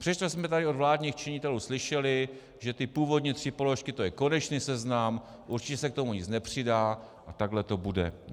Přestože jsme tady od vládních činitelů slyšeli, že ty původní tři položky to je konečný seznam, určitě se k tomu nic nepřidá a takhle to bude.